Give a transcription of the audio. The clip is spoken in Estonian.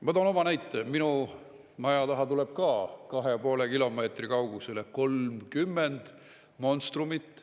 Ma toon oma näite, minu maja taha tuleb ka kahe ja poole kilomeetri kaugusele 30 monstrumit.